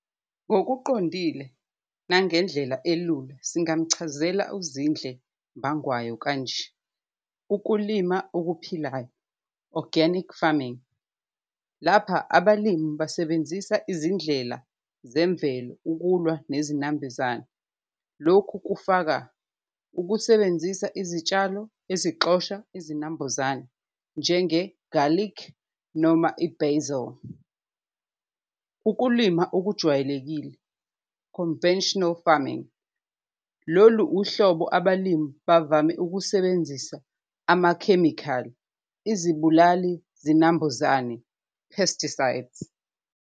Ngokuqondile nangendlela elula singamchazela uZindle Mbangwayo kanje, ukulima okuphilayo organic farming lapha abalimi basebenzisa izindlela zemvelo ukulwa nezinambulezane, lokhu kufaka ukusebenzisa izitshalo ezixosha izinambuzane njenge-garlic noma i-basil. Ukulima okujwayelekile conventional farming, lolu uhlobo abalimi bavame ukusebenzisa amakhemikhali, izibulali-zinambuzane pesticides.